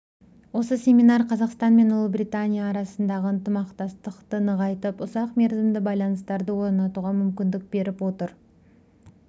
осы семинар қазақстан мен ұлыбритания арасындағы ынтымақтастықты нығайтып ұзақ мерзімді байланыстарды орнатуға мүмкіндік беріп отыр